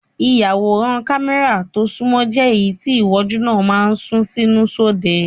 Ìyàwòrán kámẹ́rà tó sunmọ́ jẹ́ èyí tí ìwòjú náà máa ń sún sínú sóde.